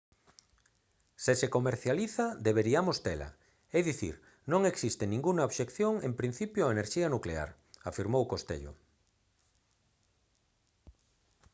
se se comercializa deberíamos tela é dicir non existe ningunha obxección en principio á enerxía nuclear afirmou costello